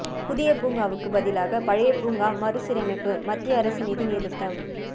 புதிய பூங்காவுக்கு பதிலாக பழைய பூங்கா மறுசீரமைப்பு மத்திய அரசு நிதி நிறுத்தம்